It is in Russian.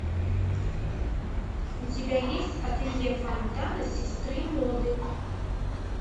у тебя есть ателье фонтана сестры моды